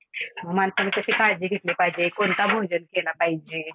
मग माणसाने कशी काळजी घेतली पाहिजे कोणता भोजन केला पाहिजे?